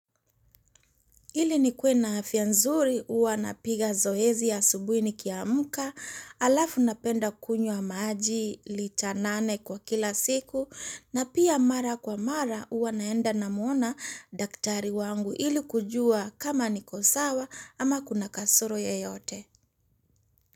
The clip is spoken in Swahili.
Ili nikuwe na afya nzuri, huwa napiga zoezi ya asubuhi nikiamka, alafu napenda kunywa maji lita nane kwa kila siku, na pia mara kwa mara huwa naenda namwona daktari wangu ili kujua kama niko sawa ama kuna kasoro yoyote.